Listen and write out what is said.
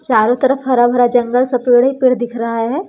चारों तरफ हरा भरा जंगल सा पेड़ है पेड़ दिख रहा है।